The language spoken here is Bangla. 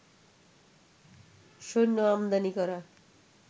সৈন্য আমদানি করা